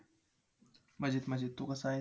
मजेत मजेत, तू कसा आहेस?